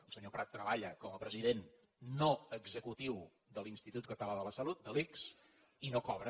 el senyor prat treballa com a president no executiu de l’institut català de la salut de l’ics i no cobra